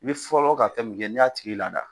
I bɛ fɔlɔ ka kɛ min kɛ n'i y'a tigi lada